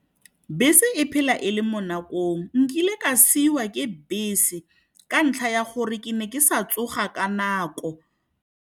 Bese e phela e le mo nakong, nkile ka siwa ke bese ka ntlha ya gore ke ne ke sa tsoga ka nako.